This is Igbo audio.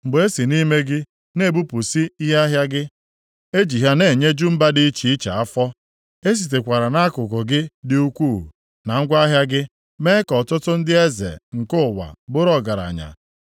Mgbe e si nʼime gị na-ebupụsị ihe ahịa gị, e ji ha na-enyeju mba dị iche iche afọ. E sitekwara nʼakụ gị dị ukwuu na ngwa ahịa gị mee ka ọtụtụ ndị eze nke ụwa bụrụ ọgaranya.